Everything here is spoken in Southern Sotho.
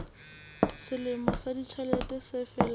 selemo sa ditjhelete se felang